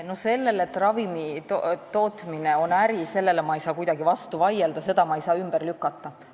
No sellele, et ravimitootmine on äri, ma ei saa kuidagi vastu vaielda, seda ma ei saa ümber lükata.